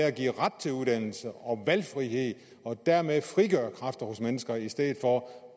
at give ret til uddannelse og valgfrihed og dermed frigøre kræfter hos mennesker i stedet for